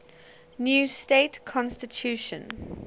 new state constitution